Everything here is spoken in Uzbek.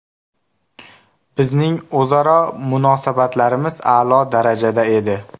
Bizning o‘zaro munosabatlarimiz a’lo darajada edi.